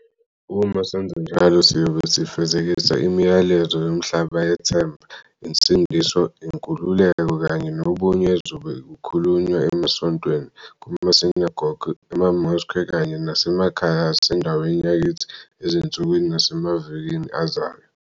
Uma senza njalo, siyobe sifezekisa imiyalezo yomhlaba yethemba, insindiso, inkululeko kanye nobunye ezobe ikhulunywa emasontweni, kumasinagoge, ema-mosque kanye nasemakhaya asendaweni yakithi ezinsukwini nasemavikini azayo.